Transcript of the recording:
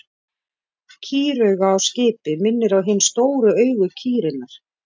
Kýrauga á skipi minnir á hin stóru augu kýrinnar.